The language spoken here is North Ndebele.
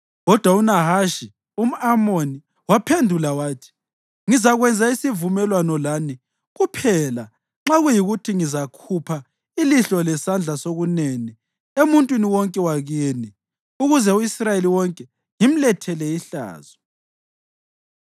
Kodwa uNahashi umʼAmoni waphendula wathi, “Ngizakwenza isivumelwano lani kuphela nxa kuyikuthi ngizakhupha ilihlo lesandla sokunene emuntwini wonke wakini ukuze u-Israyeli wonke ngimlethele ihlazo.”